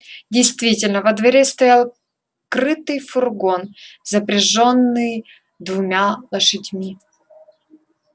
действительно во дворе стоял крытый фургон запряжённый двумя лошадьми